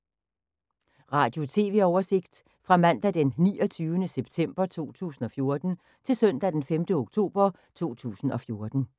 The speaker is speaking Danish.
Radio/TV oversigt fra mandag d. 29. september 2014 til søndag d. 5. oktober 2014